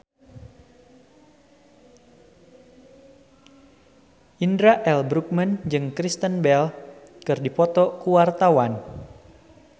Indra L. Bruggman jeung Kristen Bell keur dipoto ku wartawan